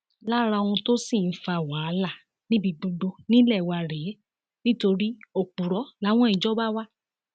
lára ohun tó sì ń fa wàhálà níbi gbogbo nílé wa rèé nítorí òpùrọ làwọn ìjọba wa